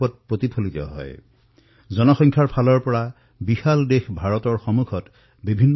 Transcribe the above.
আমাৰ দেশৰ জনসংখ্যা অনেক দেশৰ তুলনাত যথেষ্ট অধিক